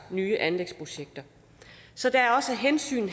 nye anlægsprojekter så der er også et hensyn